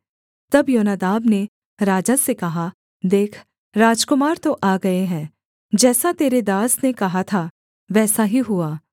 तब योनादाब ने राजा से कहा देख राजकुमार तो आ गए हैं जैसा तेरे दास ने कहा था वैसा ही हुआ